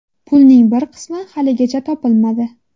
Pulning bir qismi haligacha topilmadi.